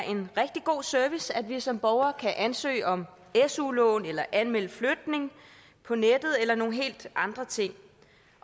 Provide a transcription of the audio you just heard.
en rigtig god service at vi som borgere kan ansøge om su lån eller anmelde flytning på nettet eller nogle helt andre ting